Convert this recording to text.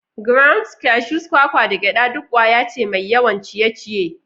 Grounds, cashews, kwakwa, da gyada duk ƙwaya ce mai yawan ciye-ciye.